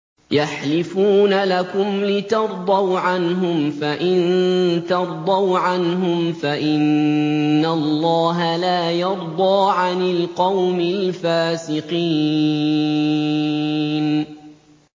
يَحْلِفُونَ لَكُمْ لِتَرْضَوْا عَنْهُمْ ۖ فَإِن تَرْضَوْا عَنْهُمْ فَإِنَّ اللَّهَ لَا يَرْضَىٰ عَنِ الْقَوْمِ الْفَاسِقِينَ